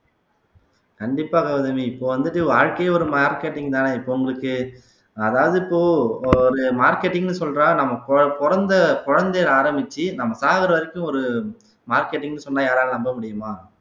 கண்டிப்பா கௌதமி இப்ப வந்துட்டு வாழ்க்கையே ஒரு marketing தானே இப்ப உங்களுக்கு அதாவது இப்போ ஒரு marketing ன்னு சொல்றா நம்ம பொ பொறந்த குழந்தையில ஆரம்பிச்சு நம்ம சாகுற வரைக்கும் ஒரு marketing ன்னு சொன்னா யாராவது நம்ப முடியுமா